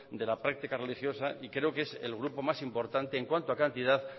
de la práctica religiosa y creo que es el grupo más importante en cuanto a cantidad